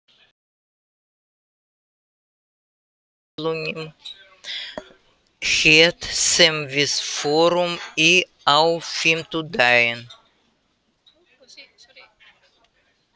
Maddý, manstu hvað verslunin hét sem við fórum í á fimmtudaginn?